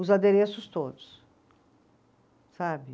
os adereços todos, sabe?